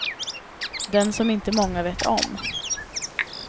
Den som inte många vet om.